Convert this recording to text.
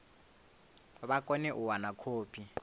vha kone u wana khophi